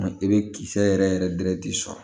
I bɛ kisɛ yɛrɛ yɛrɛ dɛrɛ de sɔn